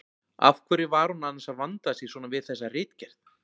Af hverju var hún annars að vanda sig svona við þessa ritgerð!